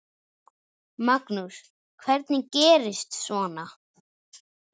Magnús: Hvernig gerist svona?